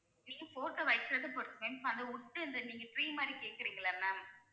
நீங்க photo வெக்கறத பொறுத்து ma'am இப்ப அந்த wood இந்த நீங்க tree மாதிரி கேக்குறீங்களா ma'am